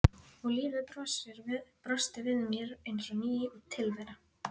Og lífið brosti við mér eins og ný tilvera.